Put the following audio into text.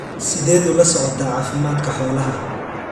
Sideed ula socotaa caafimaadka xoolaha?